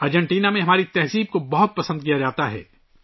Argentina میں ہماری ثقافت کو بہت پسند کیا جا رہا ہے